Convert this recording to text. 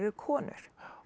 konur